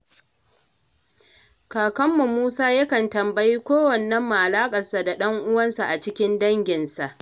Kakanmu Musa ya kan tambayi kowannenmu alaƙarsa da ɗan uwansa a cikin danginsa.